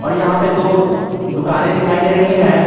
यहाँ पे दो दुकानें दिखाई दे रही हैं।